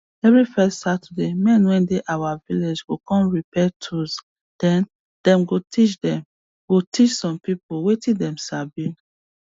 every first saturday men wey dey our village go come repair tools then them go teach them go teach some people wetin them sabi